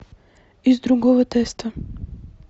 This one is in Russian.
из другого теста